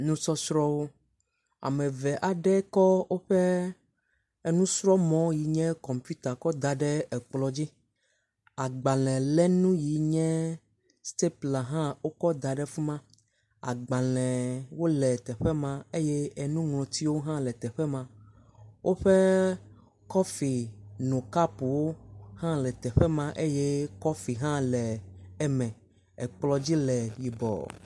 Nusɔsrɔ̃wo. Ame v aɖe kɔ woƒe enusrɔ̃mɔ ʋi nye kɔmpita kɔ da ɖe ekplɔ dzi. Agbale lenu yi nye stpula hã wokɔ ds ɖe fima. Agbalewo le teƒe ma eye enuŋlɔtiwo hã le teƒe me. Woƒe kɔfi no kapuwo hã le teƒe ma eye kɔfi hã le eme. Ekplɔ dzi le yibɔ.